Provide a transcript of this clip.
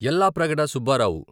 Yellapragada Subbarao